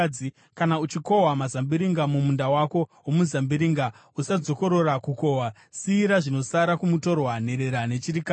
Kana uchikohwa mazambiringa mumunda wako womuzambiringa, usadzokorora kukohwa. Siyira zvinosara kumutorwa, nherera nechirikadzi.